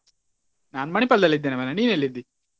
ನಾನು Manipal ದಲ್ಲಿ ಇದ್ದೇನೆ ಮಾರ್ರೆ ನೀನೆಲ್ಲಿದ್ದಿ?